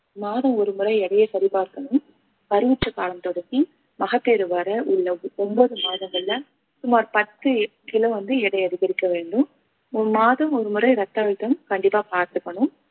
மாதம் ஒருமுறை எடையை சரி பார்க்கணும் கருவுற்ற காலம் தொடங்கி மகப்பேறு வர உள்ள ஒன்பது மாதங்கள்ல சுமார் பத்து கிலோ வந்து எடை அதிகரிக்க வேண்டும் மாதம் ஒருமுறை ரத்த அழுத்தம் கண்டிப்பா பார்த்துக்கணும்